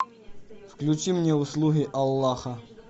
включи мне услуги аллаха